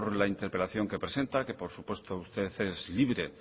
la interpelación que presenta que por supuesto usted es libre